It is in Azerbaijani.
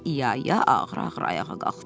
İyaya ağır-ağır ayağa qalxdı.